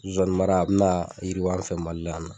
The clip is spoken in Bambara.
Zonsanninmara a bina yirwi an fɛ MALI la yan nɔ.